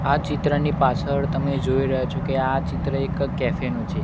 આ ચિત્રની પાછળ તમે જોઈ રહ્યા છો કે આ ચિત્ર એક કેફે નું છે.